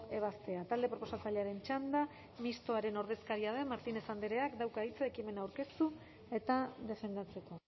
ebazpena talde proposatzailearen txanda mistoaren ordezkaria den martínez andreak dauka hitza ekimena aurkeztu eta defendatzeko